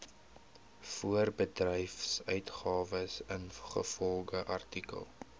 voorbedryfsuitgawes ingevolge artikel